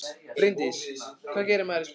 Bryndís: Hvað gerir maður í skólanum?